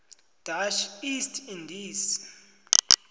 dutch east indies